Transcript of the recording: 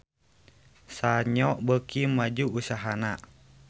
Sanyo beuki maju usahana